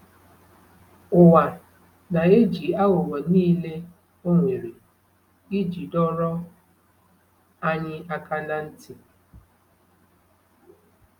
Ụwa na-eji aghụghọ niile o nwere iji dọrọ anyị aka ná ntị.